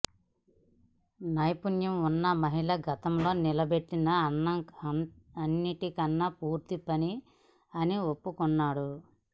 నైపుణ్యం ఉన్న మహిళ గతంలో నిలబెట్టిన అన్నిటికన్నా పూర్తి పని అని ఒప్పుకున్నాడు